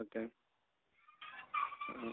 Okay. ഹ്മ്.